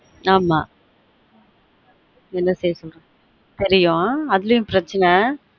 ஆமா என்ன பேசு தெரியும் அதுலயும் ப்ரச்சனை